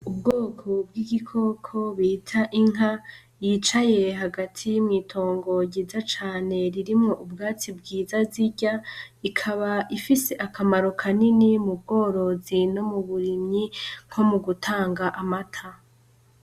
Ubwoko bw'igikoko bita inka yicaye hagati mw'itongo ryiza cane ririmwo ubwatsi bwiza zirya, ikaba ifise akamaro kanini mu bworozi no mu burimyi nko mu gutanga amata.